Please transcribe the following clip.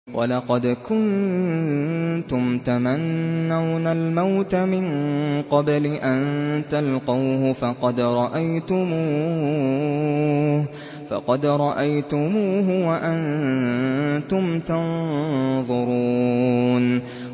وَلَقَدْ كُنتُمْ تَمَنَّوْنَ الْمَوْتَ مِن قَبْلِ أَن تَلْقَوْهُ فَقَدْ رَأَيْتُمُوهُ وَأَنتُمْ تَنظُرُونَ